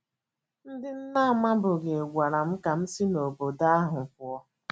Ndị m na - amabughị gwara m ka m si n’obodo ahụ pụọ.